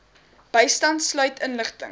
bystand sluit inligting